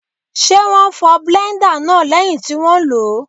Ṣé wón fọ bléńdà náà lẹ́yìn tí wón lòó.